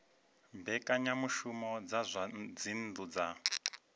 mbekanyamushumo dza zwa dzinnu dza